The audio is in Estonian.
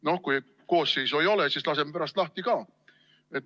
Noh, kui koosseisu ei ole, siis laseme pärast lahti ka.